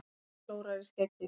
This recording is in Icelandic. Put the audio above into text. Matti klórar í skeggið.